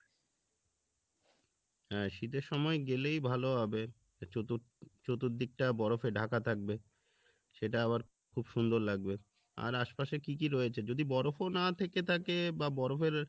হ্যাঁ শীতের সময় গেলেই ভালো হবে চতু~চতুর্দিকটা বরফে ঢাকা থাকবে সেটা আবার খুব সুন্দর লাগবে আর আশপাশে কী কী রয়েছে যদি বরফও না থেকে থাকে বা বরফের